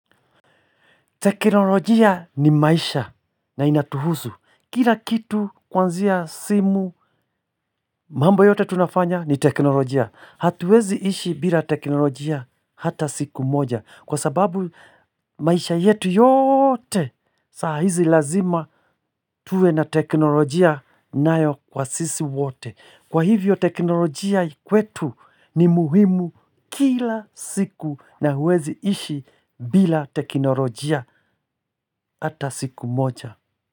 Teknolojia ni maisha na inatuhuzu. Kila kitu kuanzia simu mambo yote tunafanya ni teknolojia. Hatuezi ishi bila teknolojia hata siku moja. Kwa sababu maisha yetu yote saa hizi lazima tuwe na teknolojia nayo kwa sisi wote. Kwa hivyo teknolojia kwetu ni muhimu kila siku na huwezi ishi bila teknolojia ata siku moja.